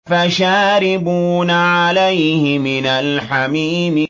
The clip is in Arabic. فَشَارِبُونَ عَلَيْهِ مِنَ الْحَمِيمِ